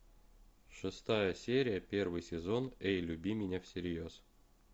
шестая серия первый сезон эй люби меня всерьез